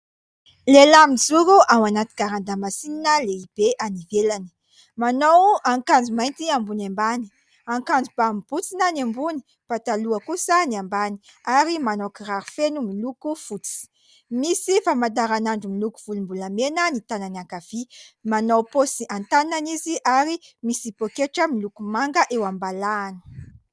Lehilahy mijoro ao anaty garan-damasinina lehibe any ivelany : manao akanjo mainty ambony ambany, akanjo ba mibotsina ny ambony, pataloha kosa ny ambany ary manao kiraro feno miloko fotsy, misy famantaranandro miloko volombolamena ny tanany ankavia, manao paosy an-tanana izy ary misy poketra miloko manga eo am-balahany.